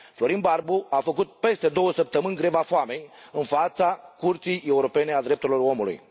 Florin Barbu a făcut peste două săptămâni greva foamei în fața Curții Europene a Drepturilor Omului.